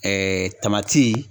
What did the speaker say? Ɛɛ tamati